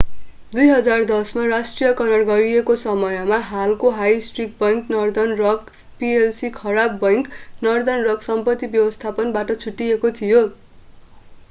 2010 मा राष्ट्रियकरण गरिएको समयमा हालको high street bank Northern Rock PLC 'खराब बैंक' नर्दर्न रक सम्पत्ति व्यवस्थापन बाट छुट्टिएको थियो।